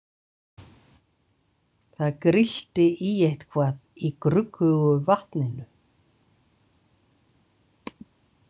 Það grillti í eitthvað í gruggugu vatninu.